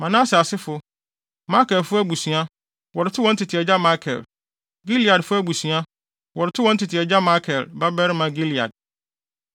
Manase asefo: Makirfo abusua, wɔde too wɔn tete agya Makir; Gileadfo abusua, wɔde too wɔn tete agya, Makir babarima, Gilead.